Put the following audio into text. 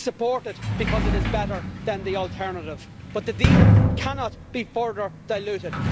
We support it because it is better than the alternative, but the deal cannot be further diluted.